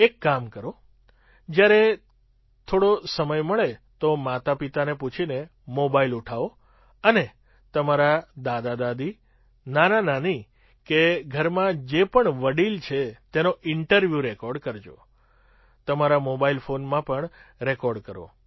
એક કામ કરો જ્યારે થોડો સમય મળે તો માતાપિતાને પૂછીને મોબાઇલ ઉઠાવો અને તમારાં દાદાદાદી નાનાનાની કે ઘરમાં જે પણ વડીલ છે તેનો ઇન્ટરવ્યૂ રેકૉર્ડ કરજો તમારા મોબાઇલ ફૉનમાં પણ રેકૉર્ડ કરો